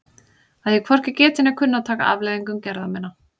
Að ég hvorki geti né kunni að taka afleiðingum gerða minna?